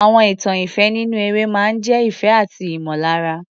Àwọn ìtàn ìfẹ́ nínú eré máa ń jẹ́ ìfẹ́ àti ìmọ̀lára.